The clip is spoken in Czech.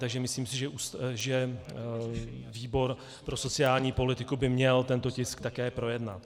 Takže myslím si, že výbor pro sociální politiku by měl tento tisk také projednat.